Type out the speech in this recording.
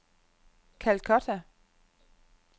Calcutta